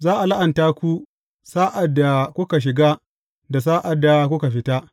Za a la’anta ku sa’ad da kuka shiga da sa’ad da kuka fita.